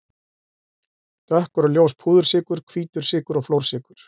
Dökkur og ljós púðursykur, hvítur sykur og flórsykur.